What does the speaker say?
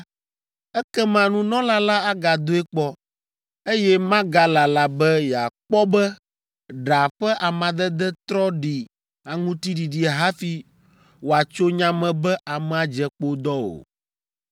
ekema nunɔla la agadoe kpɔ, eye magalala be yeakpɔ be ɖa ƒe amadede trɔ ɖi aŋuti ɖiɖi hafi wòatso nya me be amea dze kpodɔ o.